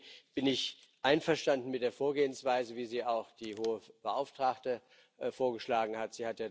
Deswegen bin ich einverstanden mit der Vorgehensweise, wie sie auch die Hohe Vertreterin vorgeschlagen hat.